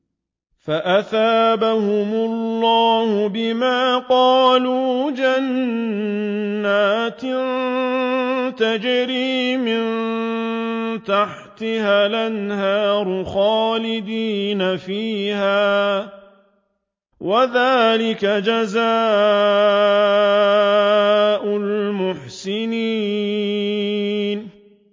فَأَثَابَهُمُ اللَّهُ بِمَا قَالُوا جَنَّاتٍ تَجْرِي مِن تَحْتِهَا الْأَنْهَارُ خَالِدِينَ فِيهَا ۚ وَذَٰلِكَ جَزَاءُ الْمُحْسِنِينَ